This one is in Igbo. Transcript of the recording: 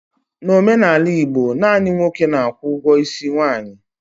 N'omenala Igbo, naanị nwoke na-akwụ ụgwọ isi nwaanyị.